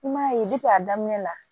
I m'a ye a daminɛ la